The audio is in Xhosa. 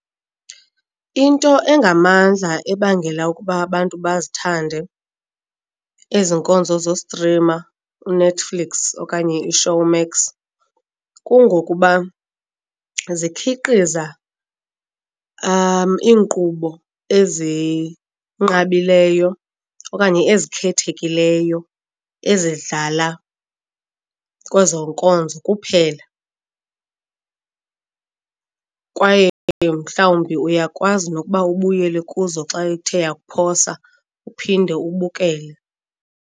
Into engamandla ebangela ukuba abantu bazithande ezi nkonzo zostrima uNetflix okanye iShowmax kungokuba zikhiqhiza iinkqubo ezinqabileyo okanye ezikhethekileyo ezidlala kwezo nkonzo kuphela, kwaye mhlawumbi uyakwazi nokuba ubuyele kuzo xa ithe yakuphosa uphinde ubukele.